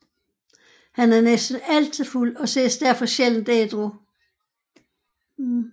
Han er næsten altid fuld og ses derfor sjældent ædru